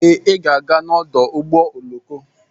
Ee, Ị ga-aga n'ọdụ ụgbọ oloko.